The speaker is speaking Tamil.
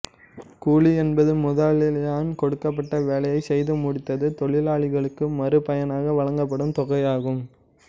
கூலி என்பது முதலாளியால் கொடுக்கப்பட்ட வேலையை செய்து முடித்தத் தொழிலாளிக்கு மறு பயனாக வழங்கப்படும் தொகையாகும்